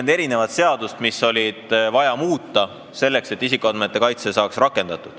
140 seadust on vaja muuta, selleks et isikuandmete kaitse saaks rakendatud.